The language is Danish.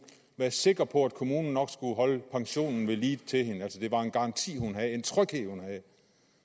være sikker på at kommunen nok skulle holde pensionen ved lige til hende det var en garanti hun havde en tryghed hun havde